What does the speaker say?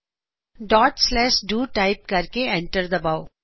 dot slash do dot slash do type ਕਰਕੇ enter ਦਬਾਓ